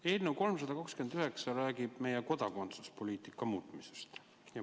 Eelnõu 329 räägib meie kodakondsuspoliitika muutmisest.